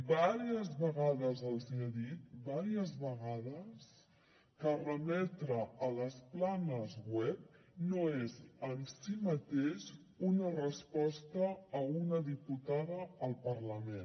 diverses vegades els ha dit diverses vegades que remetre a les planes web no és en si mateix una resposta a una diputada al parlament